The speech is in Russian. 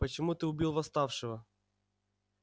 почему ты убил восставшего